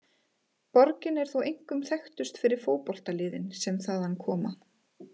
Borgin er þó einkum þekktust fyrir fótboltaliðin sem þaðan koma.